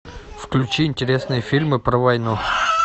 включи интересные фильмы про войну